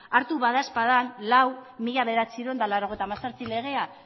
hartu bada ezpada lau barra mila bederatziehun eta laurogeita hemezortzi legea